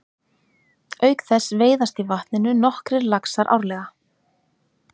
Auk þess veiðast í vatninu nokkrir laxar árleg.